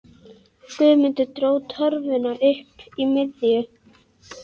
Guðmundur dró torfuna upp í miðju.